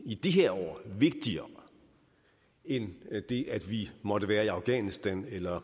i de her år vigtigere end det at vi måtte være i afghanistan eller